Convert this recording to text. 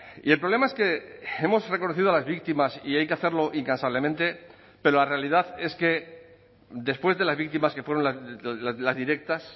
y el problema es que hemos reconocido a las víctimas y hay que hacerlo incansablemente pero la realidad es que después de las víctimas que fueron las directas